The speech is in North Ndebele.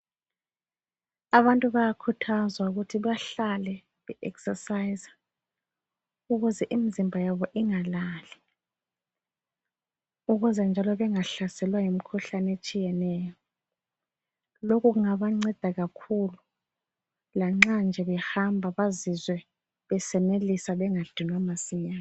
Abantu bayakhuthazwa ukuthi bahlale be exercise ukuze imzimba yabo ingalali, ukuze njalo bengahlaselwa yimikhuhlane etshiyeneyo. Lokho kungabanceda kakhulu lanxa nje behamba bazizwe besenelisa bangadinwa masinya.